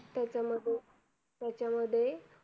त्याच मध्ये त्याच मध्ये